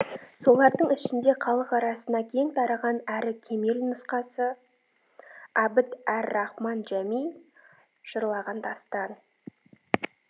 солардың ішінде халық арасына кең тараған әрі кемел нұсқасы абд әр рахман жәми жырлаған дастан